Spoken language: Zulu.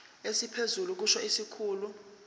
esiphezulu kusho isikhulu